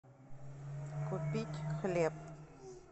купить хлеб